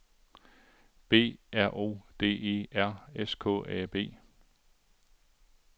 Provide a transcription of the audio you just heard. B R O D E R S K A B